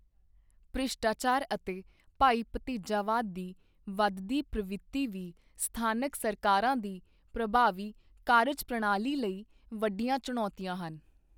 ਭ੍ਰਿਸ਼ਟਾਚਾਰ ਅਤੇ ਭਾਈ ਭਤੀਜਾਵਾਦ ਦੀ ਵਧਦੀ ਪ੍ਰਵਿਰਤੀ ਵੀ ਸਥਾਨਕ ਸਰਕਾਰਾਂ ਦੀ ਪ੍ਰਭਾਵੀ ਕਾਰਜਪ੍ਰਣਾਲੀ ਲਈ ਵੱਡੀਆਂ ਚੁਣੌਤੀਆਂ ਹਨ।